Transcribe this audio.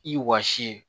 I wɔsi